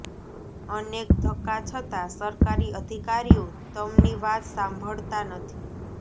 અનેક ધક્કા છતા સરકારી અધિકારીઓ તમની વાત સાંભળતા નથી